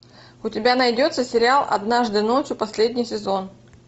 у тебя найдется сериал однажды ночью последний сезон